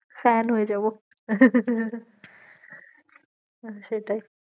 Fan হয়ে যাবো, আহ সেটাই